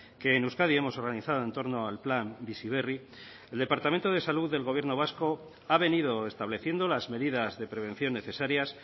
que en euskadi hemos organizado entorno al plan bizi berri el departamento de salud del gobierno vasco ha venido estableciendo las medidas de prevención necesarias